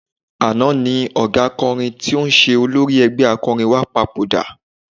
Àná ni ọ̀gá akọrin tí ń ṣe olórí ẹgbẹ́ akọrin wa papòdà.